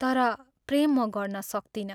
तर प्रेम म गर्न सक्तिनँ।